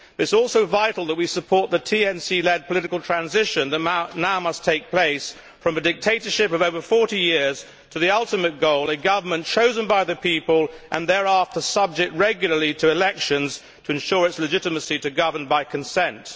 It is also vital that we support the NTC led political transition that must now take place from a dictatorship of over 40 years to the ultimate goal, a government chosen by the people and thereafter subject regularly to elections to ensure its legitimacy to govern by consent.